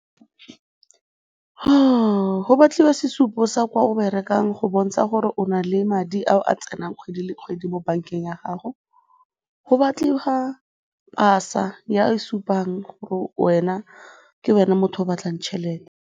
Go batliwa sesupo sa kwa o berekang go bontsha gore o na le madi ao a tsenang kgwedi le kgwedi mo bankeng ya gago, go batlega pasa e supang gore wena, ke wena motho o batlang tšhelete.